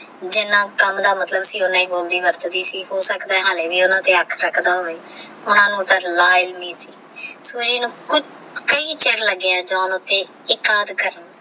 ਜਿੰਨਾ ਕਾਮ ਥਾ ਮਤਲਬ ਸੀ ਓਹਨਾ ਹੀ ਬੋਲਦੀ ਵਰਤਦੀ ਸੀ ਹੋ ਸਕਤਾ ਆ ਹਾਲੇ ਵੀ ਓਹਨਾ ਦੇ ਅਖੰ ਰਕਦਾ ਹੋਵੇ ਨਾਲ ਓਹ ਤਾ ਸੁਜੀ ਨੂ ਕੁਛ ਕਈ ਚਿਰ ਲਗ ਗਯਾ